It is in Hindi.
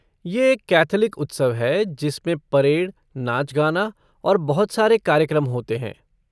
ये एक कैथोलिक उत्सव है जिसमें परेड, नाच गाना और बहुत सारे कार्यक्रम होते हैं।